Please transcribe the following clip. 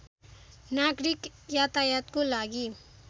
नागरिक यातायातको लागि